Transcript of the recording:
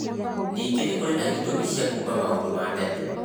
Nĩngĩ nĩ kũrĩ na ĩtũmi cia kuuma maũndu ma tene.